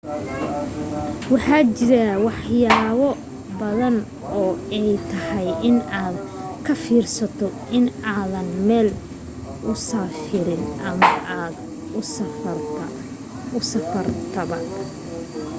waxaa jiro wax yaabo badan oo ay tahay in aad ka fiirsato inta aadan meel usafrin ama aad usafartaba